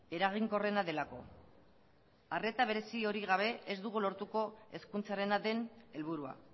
eraginkorrena delako arreta berezi hori gabe ez dugu lortuko hezkuntzarena den helburua